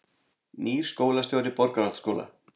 Nýr skólastjóri Borgarholtsskóla